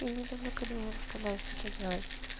я не люблю когда меня заставляют что-то делать